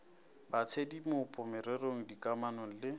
ba tshedimopo merero dikamano le